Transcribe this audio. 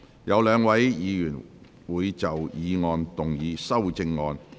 有兩位議員會就議案動議修正案。